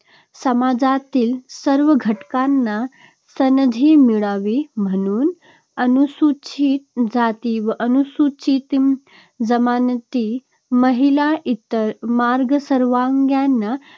समाजातील सर्वं घटकांना संधी मिळावी म्हणून अनुसूचित जाती व अनुसूचित जमाती, महिला, इतर मागासवर्गीयांना